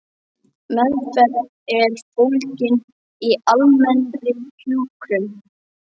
Meðferð er fólgin í almennri hjúkrun.